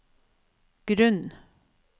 grunn